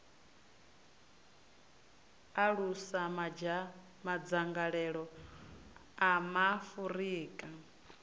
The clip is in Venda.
u alusa madzangalelo a maafurika